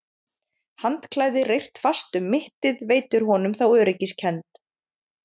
Handklæði reyrt fast um mittið veitir honum þá öryggiskennd.